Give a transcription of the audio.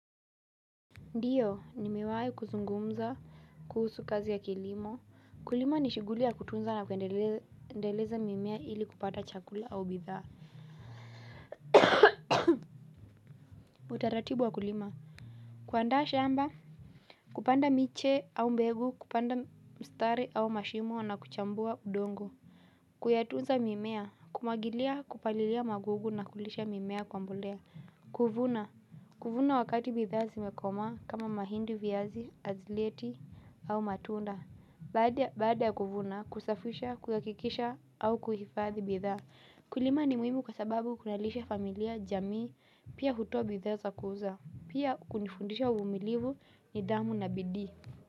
Ndiyo nimewai kuzungumza kuhusu kazi ya kilimo kulima ni shughuli ya kutunza na kuendeleza mimea ili kupata chakula au bidhaa utaratibu wa kulima kuandaa shamba kupanda miche au mbegu kupanda mstari au mashimo na kuchambua udongo kuyatunza mimea kumwagilia kupalilia magugu na kulisha mimea kwa mbolea kuvuna kuvuna wakati bidhaa zimekomaa kama mahindi viazi azileti au matunda. Baada ya kuvuna, kusafisha, kuhakikisha au kuhifadhi bidhaa kulima ni muhimu kwa sababu kunalisga familia, jamii pia hutoa bidhaa za kuuza pia kunifundisha uvumilivu, nidhamu na bidii.